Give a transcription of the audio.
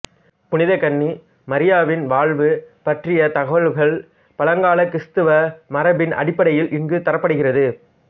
புனித கன்னி மரியாவின் வாழ்வு பற்றிய தகவல்கள் பழங்கால கிறிஸ்தவ மரபின் அடிப்படையில் இங்குத் தரப்படுகிறது